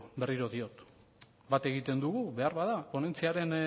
berriro diot bat egiten dugu behar bada ponentziaren